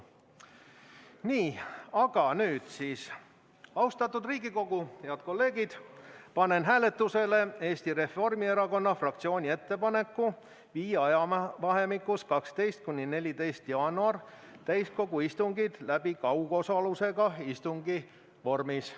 Nii, aga nüüd, austatud Riigikogu, head kolleegid, panen hääletusele Eesti Reformierakonna fraktsiooni ettepaneku viia ajavahemikus 12.–14. jaanuaril täiskogu istungid läbi kaugosalusega istungi vormis.